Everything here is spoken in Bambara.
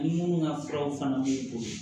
Ni minnu ka fura fana b'u bolo